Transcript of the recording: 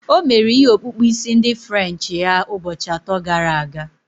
O mere ihe okpukpu isi ndi french ya ụbọchị atọ gara aga